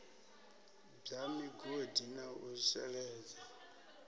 bwa migodi na u sheledza